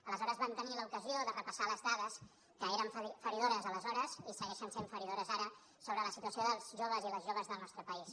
aleshores vam tenir l’ocasió de repassar les dades que eren feridores aleshores i segueixen sent feridores ara sobre la situació dels joves i les joves del nostre país